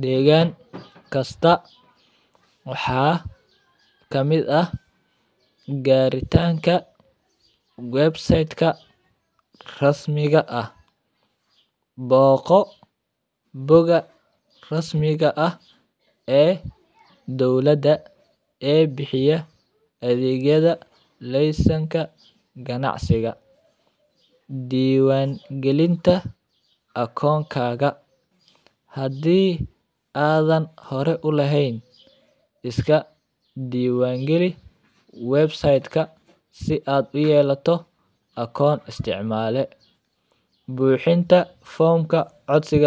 degan kasta wxa kamid ah garitanka websiteka rasmiga ah boqo boga rasmiga ah ee dowlada ee bixiya athigyada lesenka ganacsiga diwan galin ta akon kaga hadi athan hore eehn iska diwan gali websitka si ad layelato con isticmale buxinta formka cosiga.